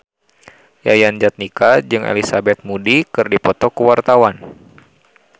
Yayan Jatnika jeung Elizabeth Moody keur dipoto ku wartawan